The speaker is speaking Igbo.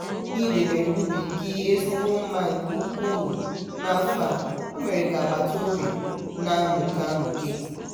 ị debere ubi gị ezigbo mma nke ukwuu n'afọ a o mere ka agbataobi a na-amuke amuke.